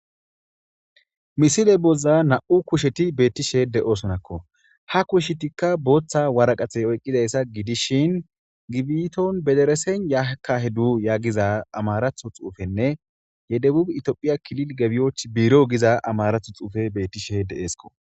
Misile bollan na'mu kusheti betosonako ha kushetika botha wariqate oyikoyisa gidishin gibiton yederes yakahedal yagiza amarathon xupenee yeitophey kili gebwochi birow giza amaratho xupey betishe de'esko